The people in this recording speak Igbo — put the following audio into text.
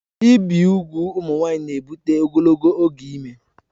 Ibi ụmụ nwanyị ùgwù na-ebụte ogologo oge ime